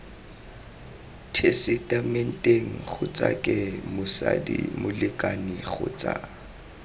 tesetamenteng kgotsake motsadi molekane kgotsa